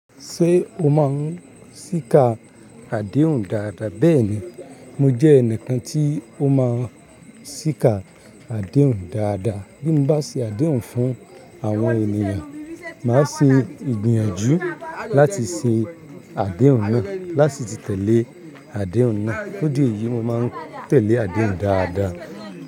Ṣé o máa ń sika adéhùn dáadáa? Bẹ́ẹ̀ni, mo jẹ́ ẹnìkan tí ó máa ń síka adéhùn dáadáa. Bí mo bá ṣe adéhùn fún àwọn ènìyàn, màá ṣe ìgbìyànjú láti ṣe adéhùn náà, láti tẹ̀lé adéhùn náà.fun idi èyí, mo máa ń tẹ̀lé adéhùn dáadáa.